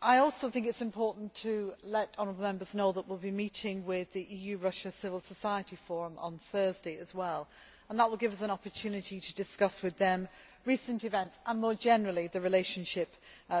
I also think it is important to let honourable Members know that we will be meeting with the EU Russia Civil Society Forum on Thursday as well and that will give us an opportunity to discuss with them recent events and more generally the relationship